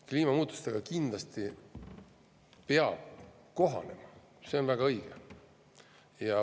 Kliimamuutustega peab kindlasti kohanema, see on väga õige.